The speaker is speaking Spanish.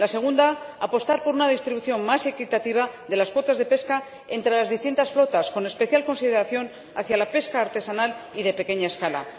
La segunda, apostar por una distribución más equitativa de las cuotas de pesca entre las distintas flotas, con especial consideración hacia la pesca artesanal y de pequeña escala.